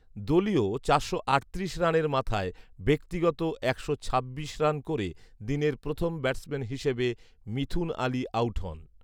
দলীয় চারশো আটত্রিশ রানের মাথায় ব্যক্তিগত একশো ছাব্বিশ রান করে দিনের প্রথম ব্যাটসম্যান হিসেবে মিথুন আলী আউট হন